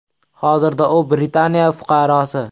Hozirda u Britaniya fuqarosi.